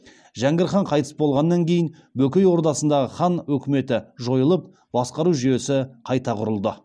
жәңгір хан қайтыс болғаннан кейін бөкей ордасындағы хан өкіметі жойылып басқару жүйесі қайта құрылды